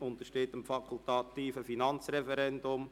Es untersteht dem fakultativen Finanzreferendum.